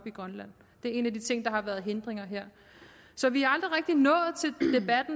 i grønland det er en af de ting der har været en hindring her så vi